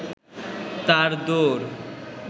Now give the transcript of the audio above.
তাঁর দৌড়